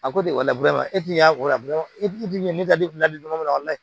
A ko di o la e ti y'a